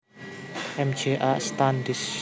M J A Standish